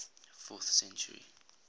fourth century